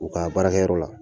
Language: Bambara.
U ka baarakɛyɔrɔ la